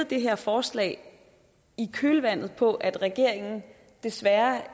det her forslag i kølvandet på at regeringen desværre